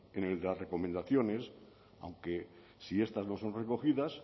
en el de las recomendaciones aunque si estas no son recogidas